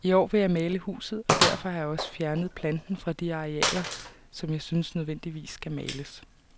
I år vil jeg male huset, og derfor har jeg også fjernet planten fra de arealer, som jeg synes nødvendigvis skal males.